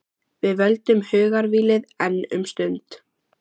Við völdum hugarvílið, enn um stund.